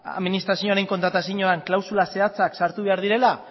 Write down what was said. administrazioaren kontratazioan klausula zehatzak sartu behar direla